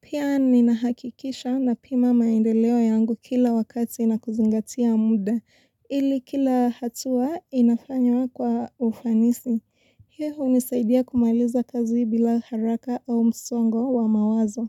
Pia ninahakikisha napima maendeleo yangu kila wakati na kuzingatia muda. Ili kila hatua inafanywa kwa ufanisi. Hii hunisaidia kumaliza kazi bila haraka au msongo wa mawazo.